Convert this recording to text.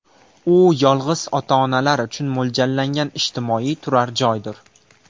U yolg‘iz ota-onalar uchun mo‘ljallangan ijtimoiy turar-joydir.